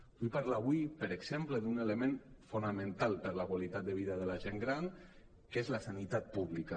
vull parlar avui per exemple d’un element fonamental per a la qualitat de vida de la gent gran que és la sanitat pública